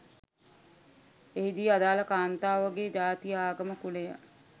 එහි දී ආදාළ කාන්තාවගේ ජාතිය ආගම කුලය